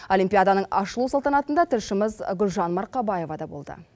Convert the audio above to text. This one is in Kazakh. олимпиаданың ашылу салтанатында тілшіміз гүлжан марқабаева да болды